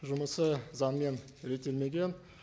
жұмысы заңмен реттелмеген